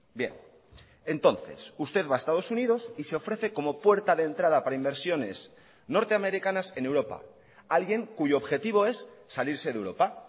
bien entonces usted va a estados unidos y se ofrece como puerta de entrada para inversiones norteamericanas en europa alguien cuyo objetivo es salirse de europa